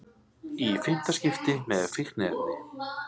Í fimmta skipti með fíkniefni